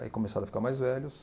Aí começaram a ficar mais velhos.